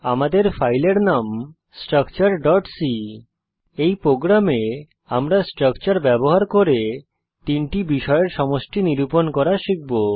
আমাদের ফাইলের নাম structureসি এই প্রোগ্রামে আমরা স্ট্রাকচার ব্যবহার করে তিনটি বিষয়ের সমষ্টি নিরূপণ করা শিখব